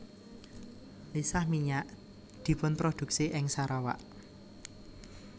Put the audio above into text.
Lisah minyak dipunprodhuksi ing Sarawak